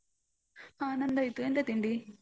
ಹಾ ನಂದಾಯ್ತು ಎಂತ ತಿಂಡಿ?